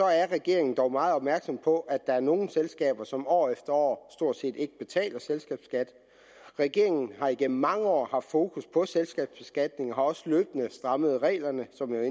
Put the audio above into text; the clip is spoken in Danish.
er regeringen dog meget opmærksom på at der er nogle selskaber som år efter år stort set ikke betaler selskabsskat regeringen har igennem mange år haft fokus på selskabsbeskatningen og har også løbende strammet reglerne som jeg